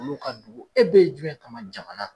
Olu ka dugu e be yen jumɛn kama jamana.